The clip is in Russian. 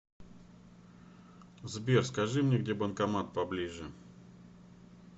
сбер скажи мне где банкомат поближе